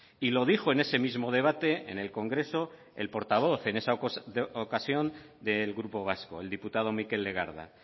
y lo dijo en ese mismo debate en el congreso el portavoz en esa ocasión del grupo vasco el diputado mikel legarda